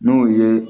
N'o ye